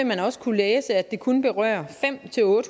man også kunne læse at det kun berører fem